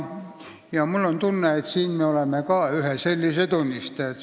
Mul on tunne, et siin me oleme ka ühe sellise arusaamatuse tunnistajad.